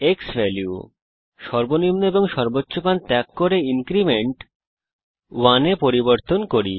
আমরা সর্বনিম্ন এবং সর্বোচ্চ ডিফল্ট মান ত্যাগ করব এবং ইনক্রিমেন্ট কে 1 এ পরিবর্তন করি